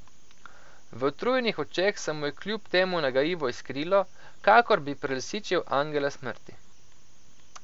V utrujenih očeh se mu je kljub temu nagajivo iskrilo, kakor bi prelisičil angela smrti.